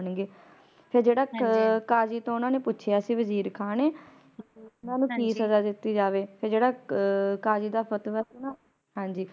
ਫਿਰ ਜਿਹੜਾ ਕਾਜੀ ਤੋਂ ਓਹਨਾ ਨੇ ਪੁੱਛਿਆ ਸੀ ਵਜ਼ੀਰ ਖਾਂ ਨੇ ਓਹਨਾ ਨੂੰ ਕਿ ਸਜਾ ਦਿੱਤੀ ਜਾਵੇ ਫਿਰ ਜਿਹੜਾ ਕਾਜ਼ੀ ਦੇ ਫਤਵਾ ਸੀ ਨਾ